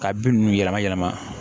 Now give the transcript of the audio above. Ka bin ninnu yɛlɛma yɛlɛma